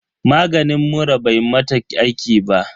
Maganin muran bai mata aiki ba.